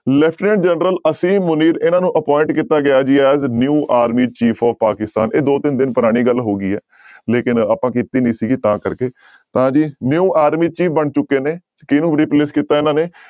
lieutenant general Asim Munir ਇਹਨਾਂ ਨੂੰ appoint ਕੀਤਾ ਗਿਆ ਜੀ as new army chief of Pakistan ਇਹ ਦੋ ਤਿੰਨ ਦਿਨ ਪੁਰਾਣੀ ਗੱਲ ਹੋ ਗਈ ਹੈ ਲੇਕਿੰਨ ਆਪਾਂ ਕੀਤੀ ਨੀ ਸੀਗੀ ਤਾਂ ਕਰਕੇ ਤਾਂ ਜੀ new army chief ਬਣ ਚੁੱਕੇ ਨੇ ਕਿਹਨੂੰ replace ਕੀਤਾ ਇਹਨਾਂ ਨੇ